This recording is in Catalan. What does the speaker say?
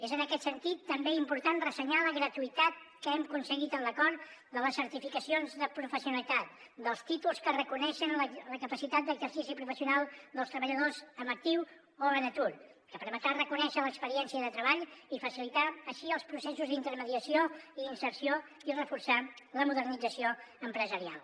és en aquest sentit també important ressenyar la gratuïtat que hem aconseguit en l’acord de les certificacions de professionalitat dels títols que reconeixen la capacitat d’exercici professional dels treballadors en actiu o en atur que permetrà reconèixer l’experiència de treball i facilitar així els processos d’intermediació i inserció i reforçar la modernització empresarial